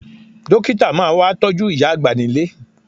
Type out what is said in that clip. Dókítà máa wá tọ́jú ìyá àgbà nílé